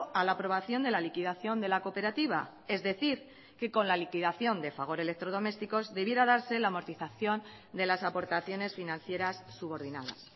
a la aprobación de la liquidación de la cooperativa es decir que con la liquidación de fagor electrodomésticos debiera darse la amortización de las aportaciones financieras subordinadas